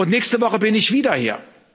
Nächste Woche bin ich wieder hier.